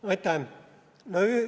Aitäh!